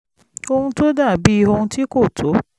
ohun tó dà bí ohun tí kò tó